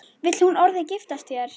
Vill hún orðið giftast þér?